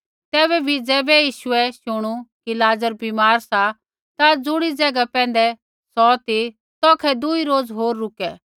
तैबै भी ज़ैबै यीशुऐ शूणु कि लाज़र बीमार सा ता ज़ुणी ज़ैगा पैंधै सौ ती तौखै दुई रोज़ होर रुके